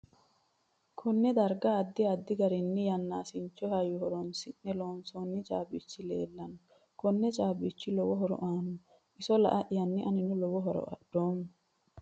Konne darga addi addi garinni yanaasichi hayyo horoonisine loonosooni caabichi leelanno koni caabichi lowo horo aanno iso la'ayanni anino lowo horo adhoomo